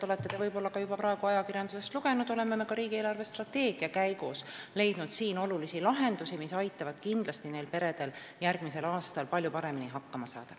Nagu te ilmselt olete juba praegu ajakirjandusest lugenud, oleme me ka riigi eelarvestrateegia käigus leidnud siin lahendusi, mis kindlasti aitavad sellistel peredel järgmisel aastal palju paremini hakkama saada.